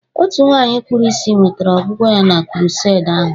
Otu nwanyị kpuru ìsì nwetara ọgwụgwọ ya na krusedi ahụ